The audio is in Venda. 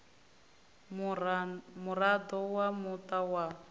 u muraḓo wa muṱa wa